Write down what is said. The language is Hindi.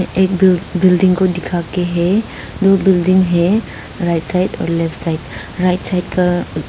एक बिल बिल्डिंग को दिखाके है दो बिल्डिंग है right side left side right side का--